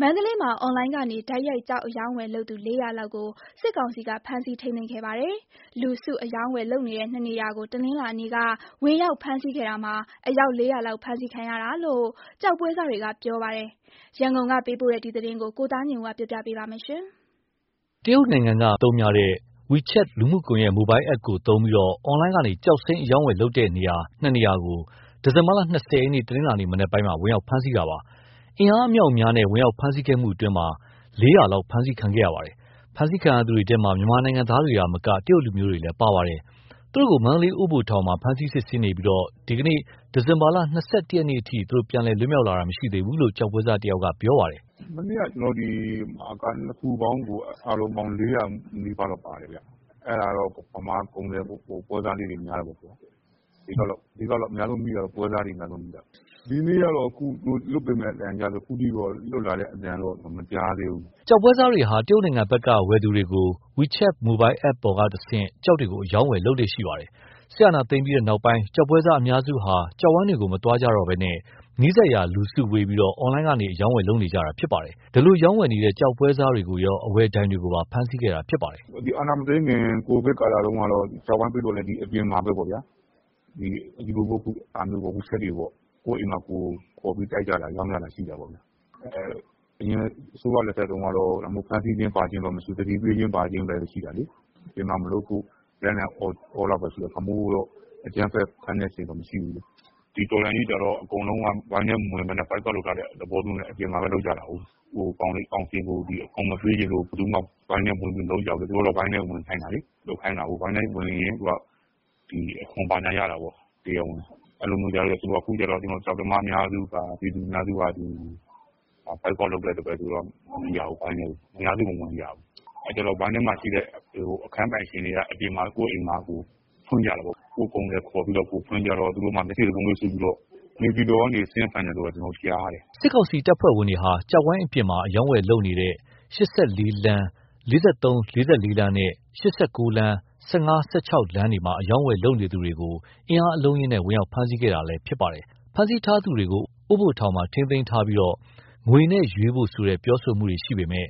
မန္တလေးမှာ အွန်လိုင်းကနေတိုက်ရိုက် ကျောက်အရောင်းအဝယ်လုပ်သူ ၄၀၀ လောက်ကို စစ်ကောင်စီကဖမ်းဆီးထိမ်းသိမ်းခဲ့ပါတယ်။ လူစု အရောင်းအဝယ် လုပ်နေတဲ့ ၂ နေရာကို တနင်္လာနေ့က ဝင်ရောက်ဖမ်းဆီးခဲ့တာမှာ အယောက် ၄၀၀ လောက်ဖမ်းဆီးခံရတာလို့ ကျောက်ပွဲစားတွေက ပြောပါတယ်။ ရန်ကုန်ကပေးပို့တဲ့သတင်းကို ကိုသားညွန့်ဦးက တင်ပြပေးထားပါတယ်။ တရုတ်နိုင်ငံက Message အပြန်အလှန်ပို့သူတွေအသုံးများတဲ့ Wechat လူမှုကွန် ယက် Mobile app ကိုသုံးပြီး အွန်လိုင်းကနေ ကျောက်စိမ်းအရောင်းဝယ်လုပ်နေတဲ့ ၂ နေရာကို ဒီဇင်ဘာ ၂၀ ရက် တနင်္လာနေ့ မနက်ပိုင်းမှာ ဝင်ရောက်ဖမ်းဆီးခဲ့ပါတယ်။ အင်အားအမြောက်အများနဲ့ ဝင်ရောက်ဖမ်းဆီးခဲ့မှုအတွင်း ရာနဲ့ချီဖမ်းဆီးခံခဲ့ရပါတယ်။ ဖမ်းဆီးခံရသူတွေထဲမှာ မြန်မာနိုင်ငံသားတွေသာမက တရုတ်လူမျိုးတွေလည်းပါပါတယ်။ သူတို့ကို မန္တလေး အိုးဘိုထောင်မှာ ဖမ်းဆီးစစ်ဆေးနေပြီးဒီကနေ့ ဒီဇင်ဘာ ၂၁ ရက်အထိ ပြန်လည် လွတ်မြောက်လာသူ မရှိသေးဘူးလို့ ကျောက်ပွဲစားတယောက်က ပြောပြပါတယ်။ “မနေ့က ၂ ခုပေါင်းကို အားလုံးပေါင်း ၄၀၀ နီးပါးလောက် ပါတယ်ခင်ဗျ။ အဲ့ဒါတော့ ဗမာကုန်သည်ပွဲစားလေးတွေ များတာပေါ့။ အဓိက အများဆုံးမိတာ ပွဲစားတွေ အများဆုံးမိတာ။ ဒီနေ့တော့ လွှတ်ပေးမယ်လို့ အသံကြားတယ်။ အခုထိတော့ လွတ်လာတဲ့ အသံတော့ မကြားသေးဘူး။” ကျောက်ပွဲစားတွေဟာ တရုတ်နိုင်ငံဘက်က ဝယ်သူတွေကို Wechat mobile app ပေါ်ကတဆင့် ကျောက်တွေကို အရောင်းအဝယ်လုပ်လေ့ရှိပါတယ်။ စစ်အာဏာသိမ်းပြီးနောက်ပိုင်း ကျောက်ပွဲစားအများစုဟာ ကျောက်ဝိုင်းတွေကို မသွားကြတော့ဘဲ နီးစပ်ရာ လူစုဝေးပြီး အွန်လိုင်းကနေ အရောင်းအဝယ်လုပ်နေကြတာဖြစ်ပါတယ်။ အဲဒီလိုရောင်းဝယ်နေတဲ့ ကျောက်ပွဲစားတွေကိုရော အဝယ်ဒိုင်တွေကိုပါ ဖမ်းဆီးခဲ့တာဖြစ်ပါတယ်။ “အာဏာမသိမ်းခင် ကိုဗစ်ကာလတုန်းကလည်း အပြင်မှာပဲပေါ့၊ အခုလို Wechat တွေပေါ့။ ကိုယ့်အိမ်မှာ ကိုယ်ခေါ်ပြီး ရောင်းကြတာ ရှိတာပေါ့။ အရင်အစိုးရလက်ထက်တုန်းက ဖမ်းဆီးတာ ဘာညာမရှိဘူး။ သတိပေးခြင်းဘာခြင်းပဲ ရှိတာလေ။ အပြင်မှာမလုပ်ဖို့ လိုက်လံအော်တာတော့ရှိတယ်။ ဒီလိုမျိုးအကြမ်းဖက် ဖမ်းတဲ့အဆင့်တော့မရှိဘူး။ ဒီတော်လှန်ရေးကြတော့ အကုန်လုံးက ဝိုင်းထဲမဝင်ဘဲ Boycott လုပ်ထားတဲ့သဘောမျိုးနဲ့ အပြင်မှာပဲ လုပ်ကြတာကို။ ကောင်စီကို အခွန် မပေးချင်လို့ ဘယ်သူမှ ဝိုင်းထဲဝင်ပြီး မလုပ်ကြဘူးလေ။ သူတို့က ဝိုင်းထဲဝင်ခိုင်းတာလေ။ ဝိုင်းထဲဝင်ရင် အခွန်ဘာညာရတာကို။ အခုကျတော့ ကျောက်သမား အများစုက ပြည်သူအများစုက Boycott လုပ်တော့ မဝင်ကြဘူး။ ဝိုင်းထဲကို အများစုမဝင်ကြဘူး။ အဲ့တော့ ဝိုင်းထဲမှာရှိတဲ့ အခန်းပိုင်ရှင်အများစုက ကိုယ့်အိမ်မှာကိုယ် လုပ်ကြတာပေါ့။ ကိုယ့်ကုန်သည်ကိုယ်ခေါ်ပြီး ဖွင့်ကြတော့ သူတို့မှာ မျက်စိစပါးမွှေးစူးပြီးတော့ နေပြည်တော်ကနေ ဆင်းဖမ်းတယ်လို့ ကြားတယ်။” စစ်ကောင်စီတပ်ဖွဲ့ဝင်တွေဟာ ၈၄ လမ်း ၄၃-၄၄ လမ်းနဲ့ ၈၉ လမ်း ၁၅-၁၆ ကြားမှာ ကျောက်ဝိုင်းပြင်ပ အရောင်းအဝယ်လုပ်နေသူတွေကို အင်အားအလုံးအရင်းနဲ့ ဝင်ရောက်ဖမ်းဆီးခဲ့တာလည်း ဖြစ်ပါတယ်။ ဖမ်းဆီးထားသူတွေကို အိုးဘိုထောင် မှာ ထိန်းသိမ်းထားပြီး ငွေနဲ့ရွေးဖို့ဆိုတဲ့ ပြောတာတွေရှိပေမယ့်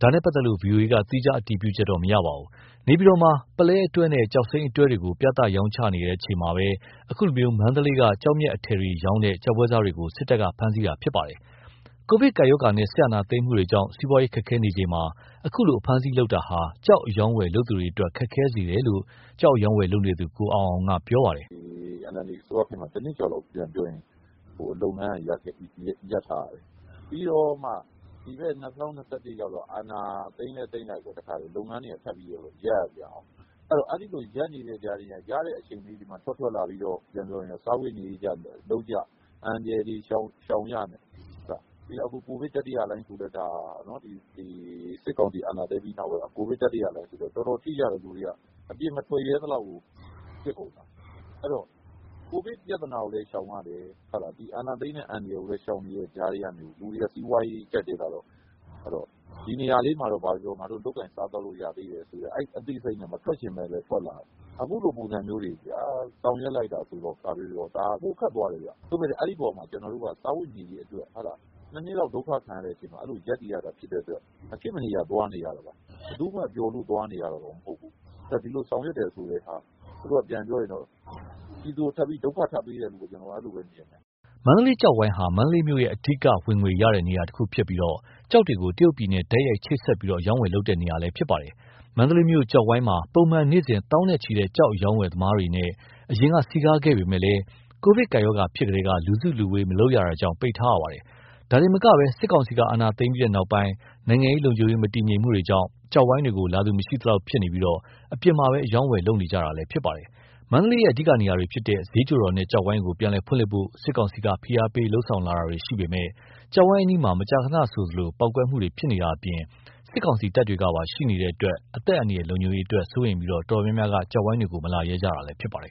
ဒါနဲ့ပတ်သက်လို့ ဗွီအိုအေက သီးခြားအတည်ပြုချက်တော့မရပါဘူး။ နေပြည်တော်မှာ ပုလဲအတွဲနဲ့ ကျောက်စိမ်းအတွဲတွေကို ပြသရောင်းချပွဲ လုပ်နေချိန်မှာပဲ ခုလို မန္တလေးက ကျောက်မျက်အထည်တွေရောင်းတဲ့ ကျောက်ပွဲစားတွေကို စစ်တပ်က ဖမ်းဆီးခဲ့တာဖြစ်ပါတယ်။ ကိုဗစ်ကပ်ရောဂါနဲ့ စစ်အာဏာသိမ်းမှုကြောင့် စီးပွားရေးခက်ခဲနေချိန်မှာ အခုလိုအဖမ်းအဆီးလုပ်တာဟာ ကျောက်အရောင်းအဝယ် လုပ်သူတွေအတွက် ခက်ခဲစေတယ်လို့ ကျောက်အရောင်အဝယ်လုပ်နေသူ ကိုအောင်အောင်က ပြောပါတယ်။ “NLD အစိုးရခေတ်မှာ ၁ နှစ်ကျော်လောက် လုပ်ငန်းက ရပ်ထားရတယ်။ ပြီးတော့မှ ဒီဘက် ၂၀၂၁ ရောက်တော့ အာဏာသိမ်းလည်းသိမ်းလိုက်ကော လုပ်ငန်းတွေက ထပ်ပြီးတော့ ရပ်ရပြန်ကော။ အဲ့ဒီလို ရပ်နေတဲ့အချိန်လေးမှာ ရတဲ့အချိန်လေး ထွက်လာပြီးတော့ စားဝတ်နေရေးအတွက် လုပ်ကြ၊ အန္တရာယ်တွေ ရှောင်ကြနဲ့ အခု စစ်ကောင်စီအာဏာသိမ်းပြီးနောက်ပိုင်း ကိုဗစ် တတိယလှိုင်းဆိုတော့ လူတွေ တော်တော်ထိကြတယ်။ အပြင်မထွက်ရဲသလောက်ကို ဖြစ်ကုန်တာ။ အဲ့တော့ ကိုဗစ် ပြသာနာကိုလည်း ရှောင်ရတယ်။ အာဏာသိမ်းတဲ့ အန္တရာယ်ကိုလည်း ရှောင်နေတဲ့ကြားကနေ လူတွေက စီးပွားရေးကြပ်တည်းလာတော့ ဘာပဲပြောပြော ဒီနေရာလေးမှာတော့ လုပ်လို့ရသေးတယ်ဆိုတဲ့ အဲဒီအသိစိတ်နဲ့ မထွက်ချင်ပဲလည်း ထွက်လာရတယ်။ အခုလိုပုံစံမျိုးတွေ ဆောင်ရွက်လိုက်တာဆိုတော့ ဒါကပိုခက် သွားတယ်ခင်ဗျ။ စားဝတ်နေရေးအတွက် ၂ နှစ်လောက် ဒုက္ခခံပြီး ရပ်တည်ရတာဖြစ်တဲ့အတွက် မဖြစ်မနေသွားနေရတာ ဘယ်သူမှ ပျော်လို့သွားနေရတာတော့မဟုတ်ဘူး။ ဒီလိုဆောင်ရွက်တယ်ဆိုတာ ပြည်သူကို ဒုက္ခထပ်ပေးတယ်လို့ပဲမြင်တယ်။” မန္တလေး ကျောက်ဝိုင်းဟာ မန္တလေးမြို့ရဲ့ အဓိက ဝင်ငွေရရှိတဲ့နေရာ တနေရာဖြစ်ပြီး ကျောက်တွေကို တရုတ်ပြည်နဲ့ တိုက်ရိုက်ချိတ်ဆက်ပြီး အရောင်းအဝယ်ပြုလုပ်တဲ့နေရာလည်းဖြစ်ပါတယ်။ မန္တလေးမြို့ ကျောက်ဝိုင်းမှာ ပုံမှန် နေ့စဉ် သောင်းနဲ့ချီတဲ့ ကျောက်အရောင်းအဝယ်သမားတွေနဲ့ အရင်က စည်ကားခဲ့ပေမဲ့ ကိုဗစ်ကပ်ရောဂါဖြစ်ထဲက လူစုလူဝေး မလုပ်ရတာကြောင့် ပိတ်ထားရပါတယ်။ ဒါတင်မက စစ်ကောင်စီက အာဏာသိမ်းပြီးနောက်ပိုင်း နိုင်ငံရေး၊ လုံခြုံရေး မတည်ငြိမ်မှုတွေကြောင့် ကျောက်ဝိုင်းတွေကို လာသူ မရှိသလောက်ဖြစ်နေပြီး အပြင်မှာသာ အရောင်းအဝယ်ပြုလုပ်နေကြတာလည်း ဖြစ်ပါတယ်။ မန္တလေးရဲ့ အဓိကနေရာတွေဖြစ်တဲ့ ဈေးချိုတော်နဲ့ ကျောက်ဝိုင်းကို ပြန်လည်ဖွင့်လှစ်ဖို့ စစ်ကောင်စီက ဖိအားပေးလုပ်ဆောင်လာတာတွေရှိပေမယ့် ကျောက်ဝိုင်းအနီးမှာ မကြာခဏဆိုသလို ပေါက်ကွဲမှုတွေ ဖြစ်နေတာအပြင် စစ်ကောင်စီတပ်တွေကပါ ရှိနေတဲ့အတွက် အသက်အန္တရာယ် လုံခြုံရေးအတွက် စိုးရိမ်ပြီး တော်တော်များများက မလာရဲကြတာလည်းဖြစ်ပါတယ်